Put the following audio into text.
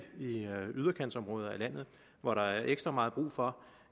yderkantsområder af landet hvor der er ekstra meget brug for